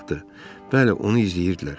Bəli, onu izləyirdilər.